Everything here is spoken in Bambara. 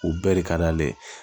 U bɛɛ de ka d'ale ye